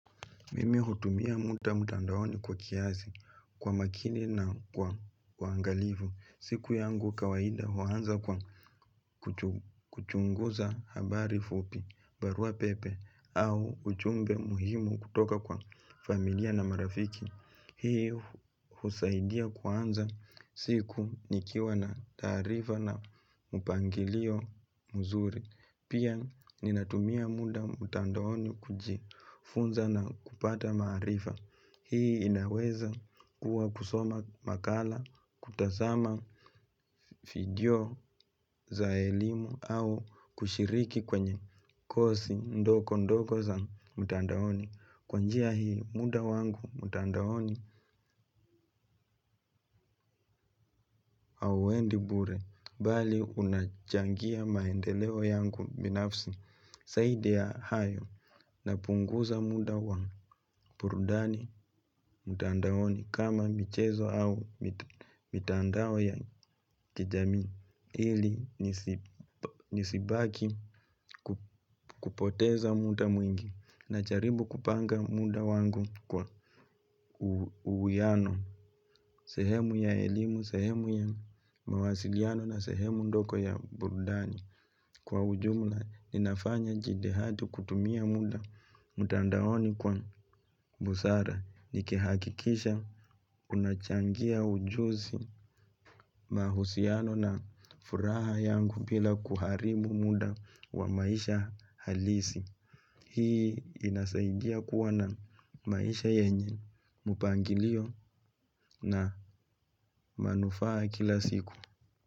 Mimi hutumia muda mtandaoni kwa kiasi kwa makini na kwa uangalifu. Siku yangu kawaida huanza kwa kuchunguza habari fupi barua pepe au ujumbe muhimu kutoka kwa familia na marafiki. Hii husaidia kuanza siku nikiwa na taarifa na mpangilio mzuri. Pia ninatumia muda mtandaoni kujifunza na kupata maarifa. Hii inaweza kuwa kusoma makala, kutazama video za elimu au kushiriki kwenye kosi ndogo ndogo za mtandaoni. Kwa njia hii muda wangu mtandaoni hauendi bure, bali unachangia maendeleo yangu binafsi. Zaidi ya hayo napunguza muda wa burudani mtandaoni kama michezo au mitandao ya kijamii ili nisibaki kupoteza muda mwingi najaribu kupanga muda wangu kwa uwiano sehemu ya elimu sehemu ya mawasiliano na sehemu ndogo ya burudani. Kwa ujumla, ninafanya jitihada kutumia muda mtandaoni kwa msaada. Nikihakikisha unachangia ujuzi mahusiano na furaha yangu bila kuharibu muda wa maisha halisi. Hii inasaidia kuwa na maisha yenye. Mpangilio na manufaa kila siku.